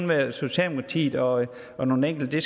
være socialdemokratiet og og nogle enkelte